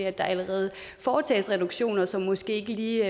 at der allerede foretages reduktioner som måske ikke lige